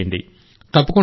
తప్పకుండా సార్